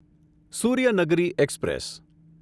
Suryanagari express